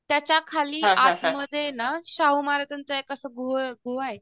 त्याच्याखाली आतमध्ये ये ना शाहू महाराजांचं एक असं गुहा आहे.